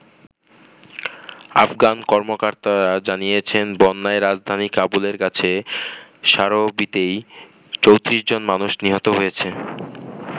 আফগান কর্মকর্তারা জানিয়েছেন বন্যায় রাজধানী কাবুলের কাছে সারোবিতেই ৩৪ জন মানুষ নিহত হয়েছে।